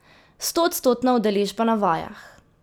Stoodstotna udeležba na vajah.